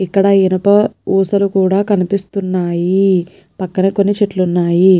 ఇక్కడ ఇనప ఊసలు కూడా కనిపిస్తున్నాయిపక్కన కొన్ని చెట్లు ఉన్నాయి.